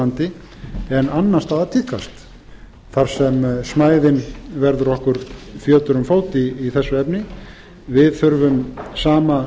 landi en annars staðar tíðkast þar sem smæðin verður okkur fjötur um fót í þessu efni við þurfum sama